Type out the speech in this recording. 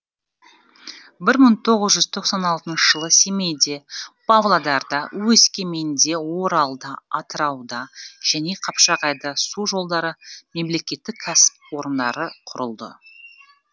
бір мың тоғыз жүз тоқсан алтыншы жылы семейде павлодарда өскеменде оралда атырауда және қапшағайда су жолдары мемлекеттік кәсіпорындары құрылды